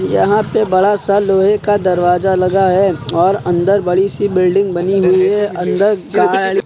यहां पर बड़ा सा लोहे का दरवाजा लगा है और अंदर बड़ी सी बिल्डिंग बनी हुई है अंदर--